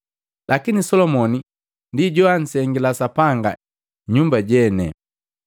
Lakini Solomoni ndi joa nsengila Sapanga nyumba jene.”